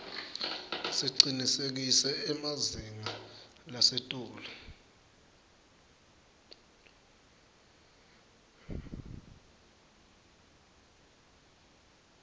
sicinisekise emazinga lasetulu